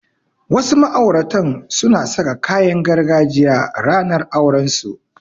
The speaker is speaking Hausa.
Wasu ma'auratan suna saka kayan gargajiya ranar aurensu.